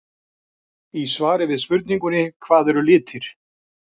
Í svari við spurningunni Hvað eru litir?